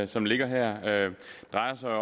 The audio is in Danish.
som ligger her drejer sig